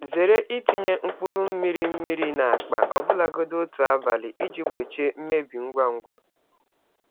Zere itinye mkpụrụ mmiri mmiri n'akpa, ọbụlagodi otu abalị, iji gbochie mmebi ngwa ngwa.